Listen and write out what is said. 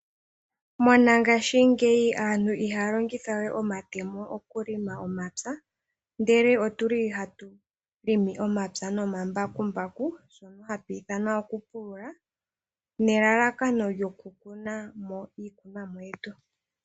Mongashingeyi aantu ihaya longitha we omatemo okulonga momapya. Ohatu longitha omambakumbaku okupulula nelalakano lyoku kunamo iikunomwa yetu.